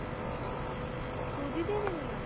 ਸੂਜ਼ੀ ਦੀਆਂ ਪਿੰਨੀਆਂ